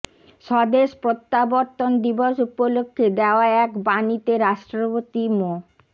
স্বদেশ প্রত্যাবর্তন দিবস উপলক্ষে দেওয়া এক বাণীতে রাষ্ট্রপতি মো